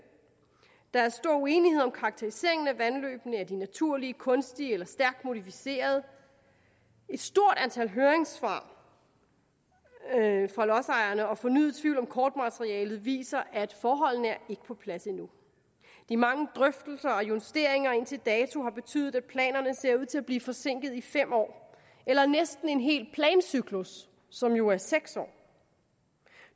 der er stor uenighed om karakteriseringen af vandløbene er de naturlige kunstige eller stærkt modificerede et stort antal høringssvar fra lodsejerne og fornyet tvivl om kortmaterialet viser at forholdene ikke er på plads endnu de mange drøftelser og justeringer indtil dato har betydet at planerne ser ud til at blive forsinket i fem år eller i næsten en hel plancyklus som jo er på seks år